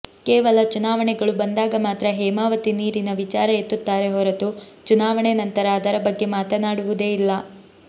ಕೇವಲ ಚುನಾವಣೆಗಳು ಬಂದಾಗ ಮಾತ್ರ ಹೇಮಾವತಿ ನೀರಿನ ವಿಚಾರ ಎತ್ತುತ್ತಾರೆ ಹೊರತು ಚುನಾವಣೆ ನಂತರ ಅದರ ಬಗ್ಗೆ ಮಾತನಾಡುವುದೇ ಇಲ್ಲ